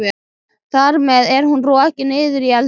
Þar með er hún rokin niður í eldhús.